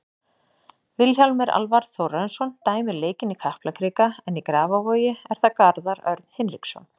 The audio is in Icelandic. Vilhjálmur Alvar Þórarinsson dæmir leikinn í Kaplakrika en í Grafarvogi er það Garðar Örn Hinriksson.